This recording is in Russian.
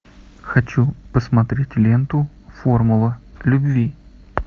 хочу посмотреть ленту формула любви